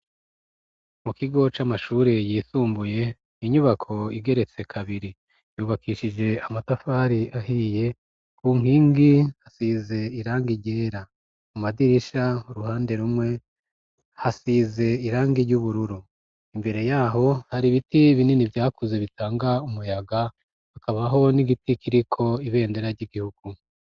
Mu kigo c'amashuri yisumbuye inyubako igeretse kabiri yubakishije amatafari ahiye. Ku nkingi hasize irangi ryera mu madirisha ruhande rumwe hasize irangi ry'ubururu imbere yaho hari ibiti binini vyakuze bitanga umuyaga hakabaho n'igiti kiriko ibendera ry'igihugu.